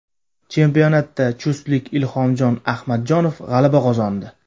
Chempionatda chustlik Ilhomjon Ahmadjonov g‘alaba qozondi.